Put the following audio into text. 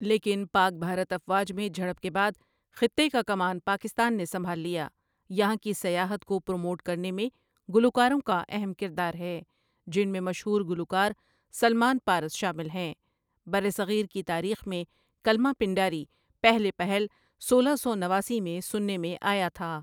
لیکن پاک بھارت افواج میں جھڑپ کے بعد خطے کا کمان پاکستان نے سنبھال لیا یہاں کی سیاحت کو پروموٹ کرنے میں گلوکاروں کا اہم کردار ہے جن میں مشہور گلوکار سلمان پارس شامل ہیں برصغیر کی تاریخ میں کلمہ پنڈاری پہلے پہل سولہ سو نواسی میں سننے میں آیا تھا ۔